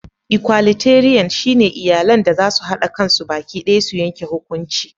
"Equalitarian" shine iyalan da zasu hada kansu baki daya su yanke hukunci.